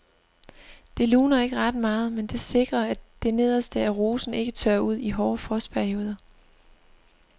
Det luner ikke ret meget, men det sikrer at det nederste af rosen ikke tørrer ud i hårde frostperioder.